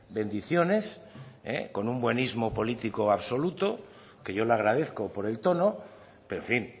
bendiciones con un buenísmo político absoluto que yo le agradezco por el tono pero en fin